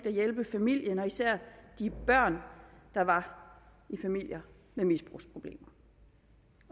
at hjælpe familien og især de børn der var i familier med misbrugsproblemer